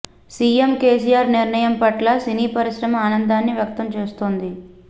CM KCR నిర్ణయం పట్ల సినీ పరిశ్రమ ఆనందాన్ని వ్యక్తం చేస్తోంది